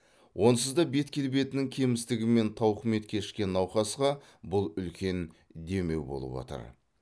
онсыз да бет келбетінің кемістігімен тауқымет кешкен науқасқа бұл үлкен демеу болып отыр